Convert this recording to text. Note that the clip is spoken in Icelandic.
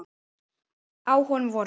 Á honum voru